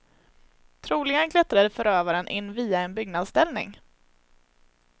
Troligen klättrade förövaren in via en byggnadsställning.